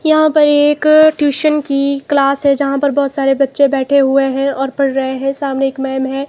यहाँ पर एक ट्यूसन कि क्लास है जहाँ पर बहोत सारे बच्चे बैठे हुए हैं और पढ़ रहे हैं सामने एक मैम हैं।